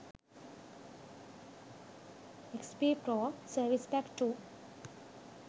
xp pro service pack 2